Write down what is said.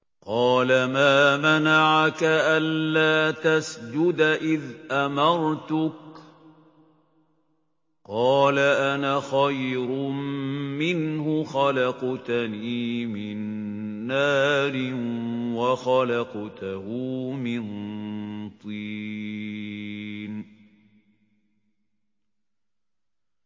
قَالَ مَا مَنَعَكَ أَلَّا تَسْجُدَ إِذْ أَمَرْتُكَ ۖ قَالَ أَنَا خَيْرٌ مِّنْهُ خَلَقْتَنِي مِن نَّارٍ وَخَلَقْتَهُ مِن طِينٍ